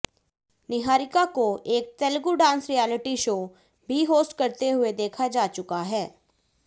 निहारिका को एक Telugu dance reality show भी होस्ट करते हुए देखा जा चुका है